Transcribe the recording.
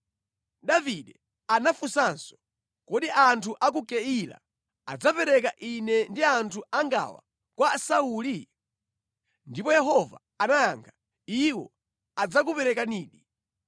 Davide anafunsanso, “Kodi anthu a ku Keila adzapereka ine ndi anthu angawa kwa Sauli?” Ndipo Yehova anayankha, “Iwo adzakuperekanidi.”